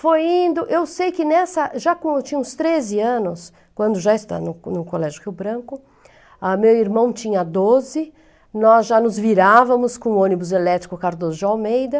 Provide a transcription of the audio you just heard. Foi indo... Eu sei que nessa... Já quando eu tinha uns treze anos, quando já estava no no Colégio Rio Branco, meu irmão tinha doze, nós já nos virávamos com o ônibus elétrico Cardoso de Almeida.